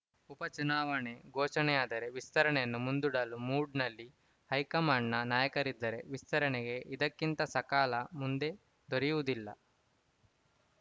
ಉಪ ಚುನಾವಣೆ ಘೋಷಣೆಯಾದರೆ ವಿಸ್ತರಣೆಯನ್ನು ಮುಂದೂಡಲು ಮೂಡ್‌ನಲ್ಲಿ ಹೈಕಮಾಂಡ್‌ನ ನಾಯಕರಿದ್ದರೆ ವಿಸ್ತರಣೆಗೆ ಇದಕ್ಕಿಂತ ಸಕಾಲ ಮುಂದೆ ದೊರೆಯುವುದಿಲ್ಲ